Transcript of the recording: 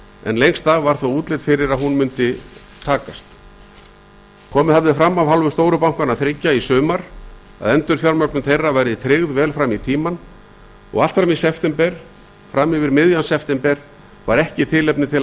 en lengst af var þó útlit fyrir að hún myndi takast komið hafði fram af hálfu stóru bankanna þriggja í sumar að endurfjármögnun þeirra væri tryggð vel fram í tímann og allt fram yfir miðjan september var ekki tilefni til að ætla annað